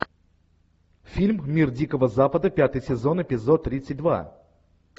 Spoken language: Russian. фильм мир дикого запада пятый сезон эпизод тридцать два